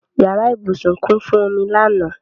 Yàrá ìbúsùn kún fún omi lánàá.